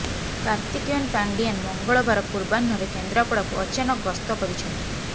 କାର୍ତିକେୟନ୍ ପାଣ୍ଡିଆନ୍ ମଙ୍ଗଳବାର ପୂର୍ବାହ୍ନରେ କେନ୍ଦ୍ରାପଡାକୁ ଅଚାନକ ଗସ୍ତ କରିଛନ୍ତି